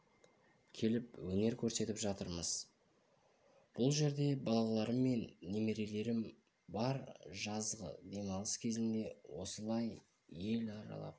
келіп өнер көрсетіп жатырмыз бұл жерде балаларым мен немерелерім бар жазғы демалыс кезінде осылай ел